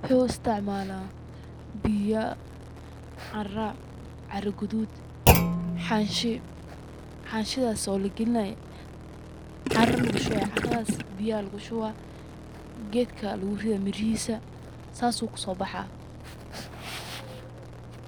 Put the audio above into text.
Wuxuu isticmaala biya, caara, caara gadud, xanshi, xanshidas oo lagelinay caara lugu shubay, caaradas biya lugu shuba, gedka lugu rida mirihiisa sas u kuso baxa,